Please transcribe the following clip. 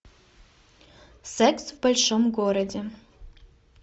секс в большом городе